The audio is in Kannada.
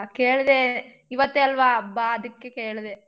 ಕೇಳ್ದೆ ಇವತ್ತೇ ಅಲ್ವಾ ಹಬ್ಬ ಅದಕ್ಕೆ ಕೇಳ್ದೆ.